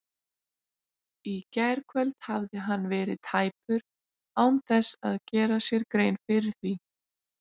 Í gærkvöld hafði hann verið tæpur án þess að gera sér grein fyrir því.